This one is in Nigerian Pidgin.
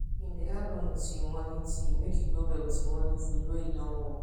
im dey add honey to im morning tea make e go well with him morning food wey im don warm